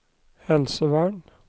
helsevern